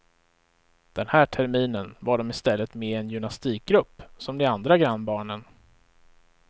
Den här terminen var dom i stället med i en gymnastikgrupp, som de andra grannbarnen.